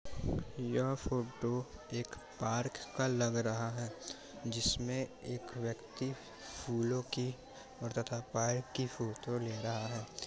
यह फोटो एक पार्क का लग रहा हे जिस में एक व्यक्ति फूलो कि और तथा पार्क की फोटो ले रहा हैं ।